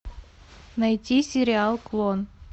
найти сериал клон